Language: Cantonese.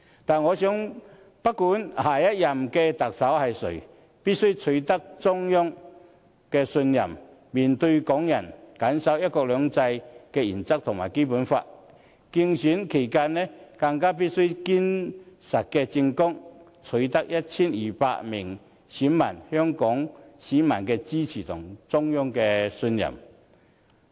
但我認為，不管下任特首是誰，必須取得中央的信任，面對港人，謹守"一國兩制"原則和《基本法》，競選期間，更須以堅實的政綱，取得 1,200 名選委、香港市民的支持和中央的信任。